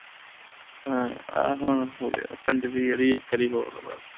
ਆਹ ਹੁਣ ਹੋ ਗਿਆ ਪੰਜਵੀਂ ਵਾਰੀ ਇਕ ਵਾਰੀ ਹੋਰ ਬਸ